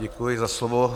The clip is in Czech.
Děkuji za slovo.